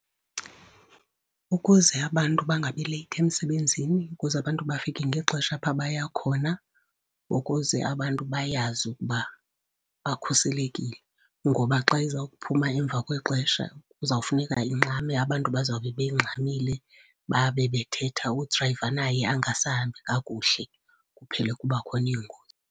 Ukuze abantu bangabi late emsebenzini, ukuze abantu bafike ngexesha apho baya khona, ukuze abantu bayazi ukuba bakhuselekile. Ngoba xa iza ukuphuma emva kwexesha kuzawufuneka ingxame, abantu bazawube bengxamile babe bethetha, udrayiva naye angasahambi kakuhle, kuphele kuba khona iingozi.